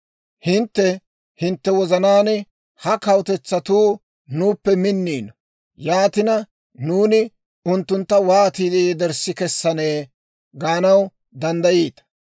«Hintte hintte wozanaan, ‹Ha kawutetsatuu nuuppe minniino; yaatina, nuuni unttuntta wootiide yederssi kessanee?› gaanaw danddayiita.